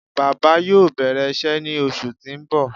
Baba yoo bẹrẹ iṣẹ ni oṣu ti n bọ